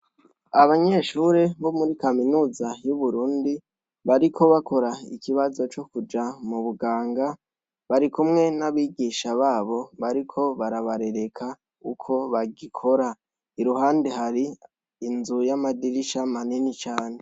Abanyeshure bo muri kaminuza y'Uburundi bariko bakora ikibazo co kuja mu buganga, barikumwe n'abigisha babo bariko barabarereka uko bagikora. Iruhande hari inzu y'amadirisha manini cane.